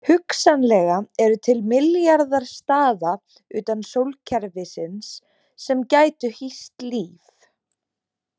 Hugsanlega eru til milljarðar staða utan sólkerfisins sem gætu hýst líf.